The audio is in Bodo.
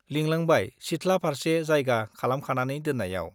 लिंलांबाय सिथ्ला फार्से जायगा खालामखानानै दोन्नायाव।